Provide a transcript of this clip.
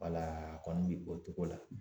Wala a kɔni bɛ bɔ o cogo la